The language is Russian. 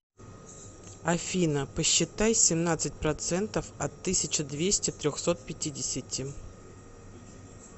афина посчитай семнадцать процентов от тысяча двести трехсот пятидесяти